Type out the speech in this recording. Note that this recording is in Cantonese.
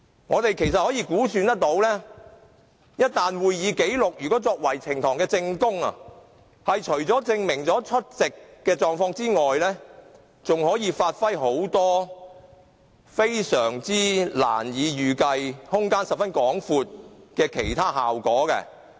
我們可以估計，一旦會議紀錄作為呈報證供，除了證明議員的出席情況外，還可以發揮很多非常難以預計、空間十分廣闊的其他效果。